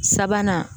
Sabanan